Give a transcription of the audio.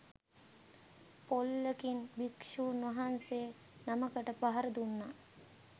පොල්ලකින් භික්ෂූන් වහන්සේ නමකට පහර දුන්නා.